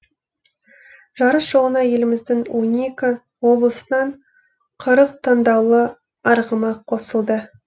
жарыс жолына еліміздің он екі облысынан қырық таңдаулы арғымақ қосылды